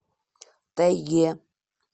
тайге